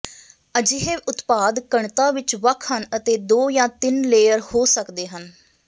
ਅਜਿਹੇ ਉਤਪਾਦ ਘਣਤਾ ਵਿੱਚ ਵੱਖ ਹਨ ਅਤੇ ਦੋ ਜਾਂ ਤਿੰਨ ਲੇਅਰ ਹੋ ਸਕਦੇ ਹਨ